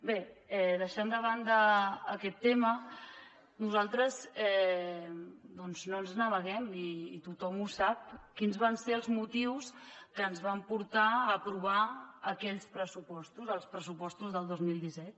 bé deixant de banda aquest tema nosaltres doncs no ens n’amaguem i tothom sap quins van ser els motius que ens van portar a aprovar aquells pressupostos els pressupostos del dos mil disset